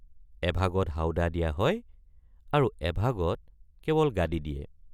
এভাগত হাউদা দিয়া হয় আৰু এভাগত কেৱল গাদী দিয়ে।